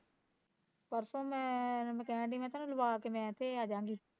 ਪਰਸੋਂ ਮੈਂ ਮੈਂ ਕਹਿਣ ਡਈ ਮੈਂ ਕਿਹਾਂ ਤੇਨੂੰ ਲਵਾਂ ਕੇ ਮੈਂ ਏਥੇ ਅਜਾਗੀ